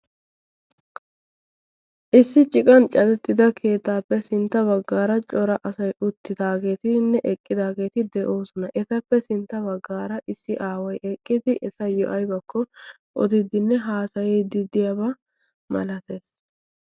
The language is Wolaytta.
Issi ciqan cadeti utida keettaappe sintta bagaara cora asay eqqidaagenne uttidaage de'oosona. etappe sinta bagaara issi aaway abakko odiyaba milatees.